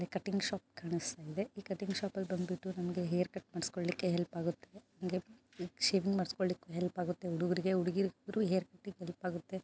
Cutting shop ಕಾಣಿಸ್ತಾ ಇದೆ ಈ ಕಟಿಂಗ್ ಶಾಪ್ ಅಲ್ಲಿ ಬಂದ್ಬಿಟ್ಟು ಹೇರ್ ಕಟ್ ಮಾಡ್ಸ್ಕೊಳ್ಳಕ್ಕೆ ಹೆಲ್ಪ್ ಆಗುತ್ತೆ ಶೇವಿಂಗ್ ಮಾಡ್ಸ್ಕೊಳಕ್ಕೆ ಹೆಲ್ಪ್ ಆಗುತ್ತೆ. ಹುಡುಗರಿಗೆ ಹುಡುಗಿಯರಿಗೆ ಇಬ್ರಿಗೂ ಹೆಲ್ಪ್ ಆಗುತ್ತೆ.